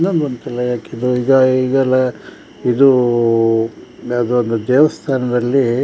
ಇದಲ್ಲ ಇದು ಯಾವದದ್ ದೇವಸ್ಥಾನದಲ್ಲಿ --